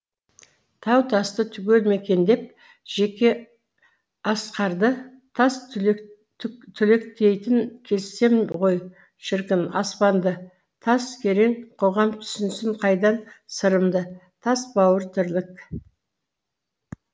тау тасты түгел мекендеп жеке асқарды тас түлектейтін кезсем ғой шіркін аспанды тас керең қоғам түсінсін қайдан сырымды тас бауыр тірлік